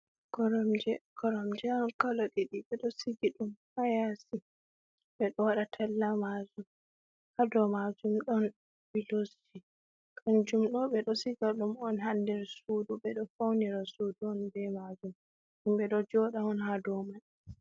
Koromje, koromje on kalo diɗi ɓe ɗo sigi ɗum ha yasi, ɓe ɗo waɗa tella majum, ha dow majum ɗon pilosji kanjum ɗo ɓe ɗo siga ɗum on ha nder suudu, ɓeɗo faunira suudu on be majum, himɓe ɗo joɗa on ha do mai.